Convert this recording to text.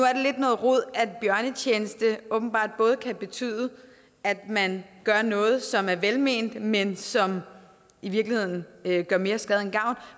noget rod at bjørnetjeneste åbenbart både kan betyde at man gør noget som er velment men som i virkeligheden gør mere skade end gavn